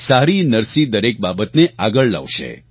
સારીનરસી દરેક બાબતને આગળ લાવશે